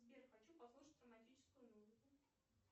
сбер хочу послушать романтическую музыку